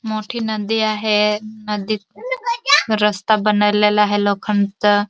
मोठी नदी आहे नदीत रस्ता बनवलेला आहे लोखंडाचा.